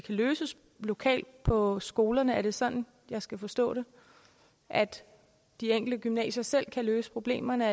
løses lokalt på skolerne er det sådan jeg skal forstå det at de enkelte gymnasier selv kan løse problemerne